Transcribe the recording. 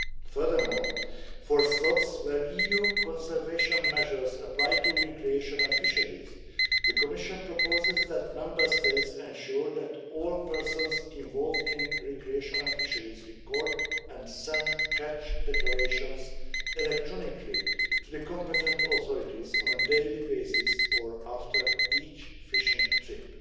Furthermore, for stocks where EU conservation measures apply to recreational fisheries, the Commission proposes that Member States ensure that all persons involved in recreational fisheries record and send catch declarations electronically to the competent authorities on a daily basis or after each fishing trip.